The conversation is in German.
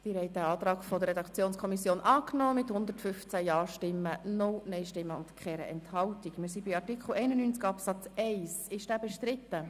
Sie haben den Antrag der Redaktionskommission mit 115 Ja-, 0 Nein-Stimmen und 0 Enthaltungen angenommen.